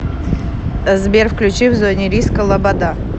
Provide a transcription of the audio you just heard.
сбер включи в зоне риска лобода